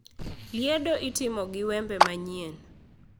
Liedo itimo gi wembe manyien.